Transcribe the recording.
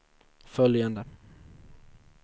följande